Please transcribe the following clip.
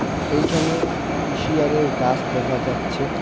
এইখানে হুঁশিয়ারের গাছ দেখা যাচ্ছে.